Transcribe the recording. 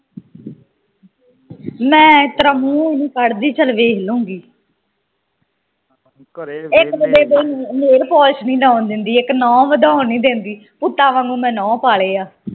ਮੈ ਇਸ ਤਰਾਂ ਮੂੰਹੋ ਨਹੀਂ ਕੱਢ ਦੀ ਚਲ ਵੇਖਲੂਗੀ ਇਕ ਤਾ ਬੇਬੇ nail polish ਨਹੀਂ ਲਾਉਣ ਦਿੰਦੀ, ਇਕ ਨੁਹ ਵਧਾਓਣ ਨਹੀਂ ਦਿੰਦੀ ਪੁੱਤਾ ਵਾਂਗੂ ਮੈ ਨੁਹ ਪਾਲੇ ਆ